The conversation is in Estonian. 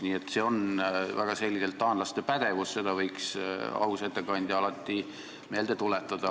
Nii et see on väga selgelt taanlaste pädevus, seda võiks aus ettekandja alati meelde tuletada.